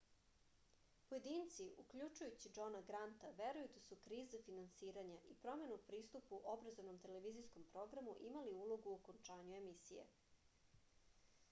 pojedinci uključujući džona granta veruju da su kriza finansiranja i promena u pristupu obrazovnom televizijskom programu imali ulogu u okončanju emisije